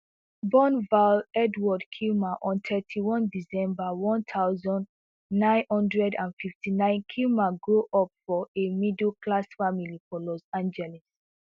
born val edward kilmer on thirty-one december one thousand, nine hundred and fifty-nine kilmer grow up for a middleclass family for los angeles